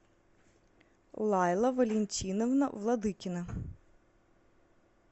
лайла валентиновна владыкина